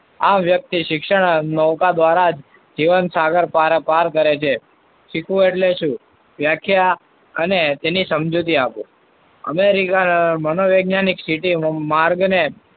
આમ વ્યક્તિ શિક્ષણ નૌકા દ્વારા જીવન સાગર પાર કરે છે. શીખવું એટલે શું? વ્યાખ્યા અને તેની સમજૂતી આપો. અમે મનો વૈજ્ઞાનિક માર્ગને